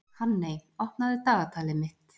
Hanney, opnaðu dagatalið mitt.